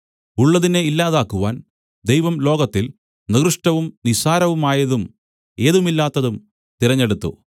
ഉള്ളതിനെ ഇല്ലാതാക്കുവാൻ ദൈവം ലോകത്തിൽ നികൃഷ്ടവും നിസ്സാരവുമായതും ഏതുമില്ലാത്തതും തിരഞ്ഞെടുത്തു